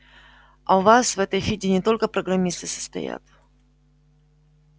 а у вас в этой фиде не только программисты состоят